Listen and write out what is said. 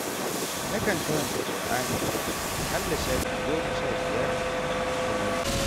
Nakan karanta Kur'ani aƙalla shafi goma sha biyar a kullum.